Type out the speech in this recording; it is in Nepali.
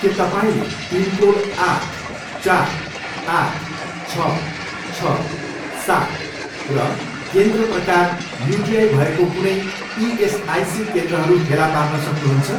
के तपाईँँले पिनकोड आठ, चार, आठ, छ, छ, सात र केन्द्र प्रकार युटिआई भएको कुनै इएसआइसी केन्द्रहरू फेला पार्न सक्नुहुन्छ?